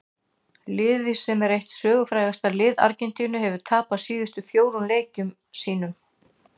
Liðið sem er eitt sögufrægasta lið Argentínu hefur tapað síðustu fjórum leikjum sínum.